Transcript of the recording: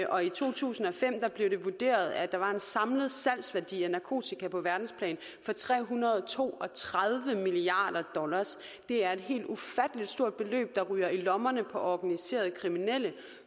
og i to tusind og fem blev det vurderet at der var en samlet salgsværdi af narkotika på verdensplan på tre hundrede og to og tredive milliard dollar det er et helt ufatteligt stort beløb der ryger i lommerne på organiserede kriminelle